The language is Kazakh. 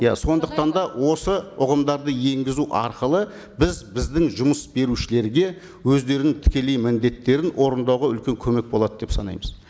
иә сондықтан да осы ұғымдарды енгізу арқылы біз біздің жұмыс берушілерге өздерінің тікелей міндеттерін орындауға үлкен көмек болады деп санаймыз